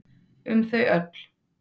Um þau öll.